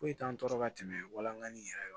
Foyi t'an tɔɔrɔ ka tɛmɛ walangan yɛrɛ